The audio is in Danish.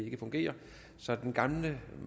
ikke fungerer så den gamle